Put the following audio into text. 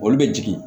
Olu bɛ jigin